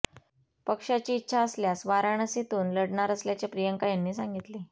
पक्षाची इच्छा असल्यास वाराणसीतून लढणार असल्याचे प्रियांका यांनी सांगितले